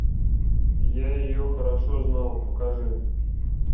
я ее хорошо знал покажи